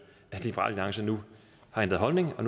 at liberal alliance nu har ændret holdning og